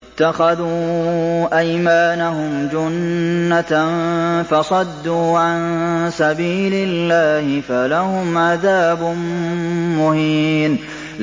اتَّخَذُوا أَيْمَانَهُمْ جُنَّةً فَصَدُّوا عَن سَبِيلِ اللَّهِ فَلَهُمْ عَذَابٌ مُّهِينٌ